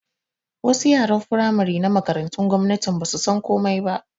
Wasu yaran Firamare na Makarantu gwamnatin basu san komai ba